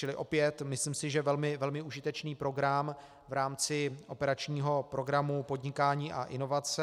Čili opět, myslím si, že velmi užitečný program v rámci operačního programu Podnikání a inovace.